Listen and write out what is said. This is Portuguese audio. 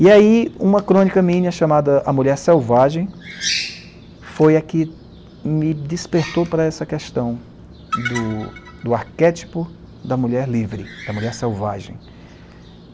E aí, uma crônica minha chamada A Mulher Selvagem foi a que me despertou para essa questão do do arquétipo da mulher livre, da mulher selvagem.